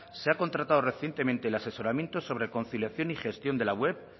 se ha contratado recientemente el asesoramiento sobre conciliación y gestión de la web